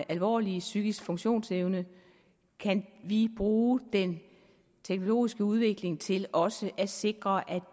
alvorlige psykiske funktionsnedsættelser kan vi bruge den teknologiske udvikling til også at sikre at